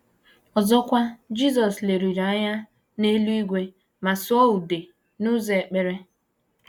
Ọzọkwa, Jisọs leliri anya n’eluigwe ma sụọ ude n’ụzọ ekpere.